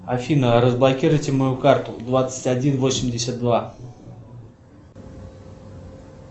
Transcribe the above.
афина разблокируйте мою карту двадцать один восемьдесят два